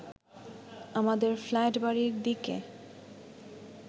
আমাদের ফ্ল্যাটবাড়ির দিকে